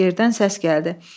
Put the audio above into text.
Yerdən səs gəldi.